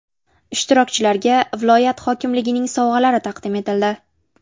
Ishtirokchilarga viloyat hokimligining sovg‘alari taqdim etildi.